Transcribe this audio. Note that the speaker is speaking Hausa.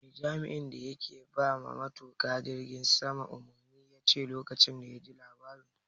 Me jami'in da yake bawa matuka jirgin sama umarni yace lokacin da yaji labarin?